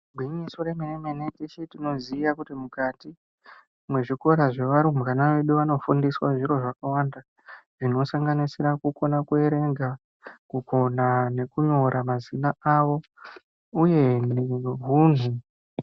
Igwinyiso remene mene teshe tinoziya kuti mukati mwezvikora zvevarumbwana vana vedu vanofundiswa zviro zvakawanda zvinosanganisira kukona kuerenga, kukona nekunyora mazina avo.